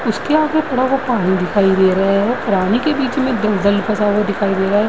उसके आगे थोड़ा सा पानी दिखाई दे रहा है। पानी के बीच में दलदल फसा हुआ दिखाई दे रहा है।